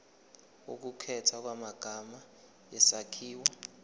ukukhethwa kwamagama isakhiwo